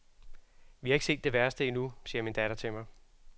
Vi har ikke set det værste endnu, siger min datter til mig.